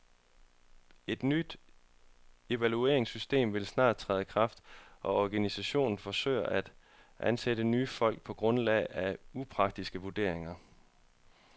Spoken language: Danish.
Et nyt evalueringssystem vil snart træde i kraft, og organisationen forsøger at ansætte nye folk på grundlag af upartiske vurderinger.